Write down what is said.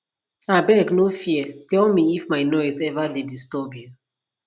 abeg no fear tell me if my noise ever dey disturb you